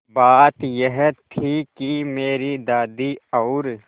बात यह थी कि मेरी दादी और